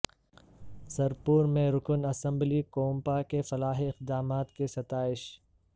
سرپور میں رکن اسمبلی کونپا کے فلاحی اقدامات کی ستائش